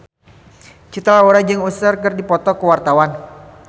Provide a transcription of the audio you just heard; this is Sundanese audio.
Cinta Laura jeung Usher keur dipoto ku wartawan